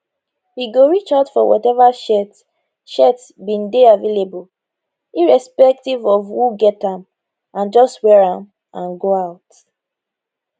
we go reach out for whatever shirt shirt bin dey available irrespective of who get am and just wear am and go out